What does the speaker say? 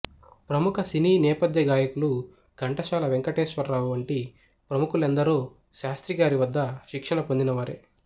ప్రముఖ సినీ నేపధ్యగాయకులు ఘంటసాల వెంకటేశ్వరావు వంటి ప్రముఖులెందరో శాస్త్రిగారి వద్ద శిక్షణ పొందిన వారే